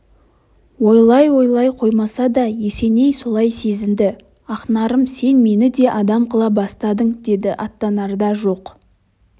олай ойлай қоймаса да есеней солай сезінді ақнарым сен мені де адам қыла бастадың деді аттанарда жоқ